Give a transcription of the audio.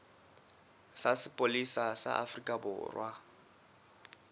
sa sepolesa sa afrika borwa